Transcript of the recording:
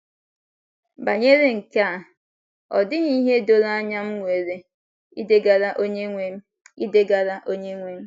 Banyere nkea, ọ dịghị ihe doro anya m nwere idegara Onyenwe m idegara Onyenwe m.